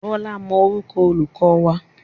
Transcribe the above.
Bọ́lá mọ orúkọ olùkọ́ wa.